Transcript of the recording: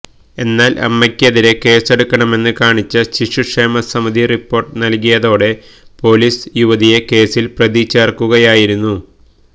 എന്നാൽ അമ്മയ്ക്ക് എതിരെ കേസ് എടുക്കണമെന്ന് കാണിച്ച് ശിശുക്ഷേമ സമിതി റിപ്പോർട്ട് നൽകിയതോടെ പൊലീസ് യുവതിയെ കേസിൽ പ്രതി ചേർക്കുകയായിരുന്നു